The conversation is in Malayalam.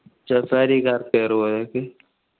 safari car